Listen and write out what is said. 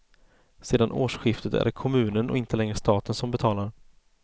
Sedan årsskiftet är det kommunen och inte längre staten som betalar.